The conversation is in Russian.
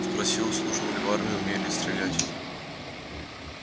спросил служил ли в армии умею ли стрелять